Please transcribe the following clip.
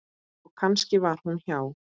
Og kannski var hún hjá